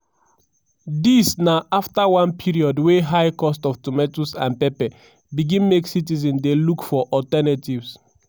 dis na afta one period wey high cost of tomatoes and pepper begin make citizens dey look for alternatives.